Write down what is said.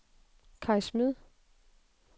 Kai Smed